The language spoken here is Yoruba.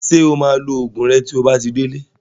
Ṣé o máa lo Ògùn rẹ tí o bá ti délé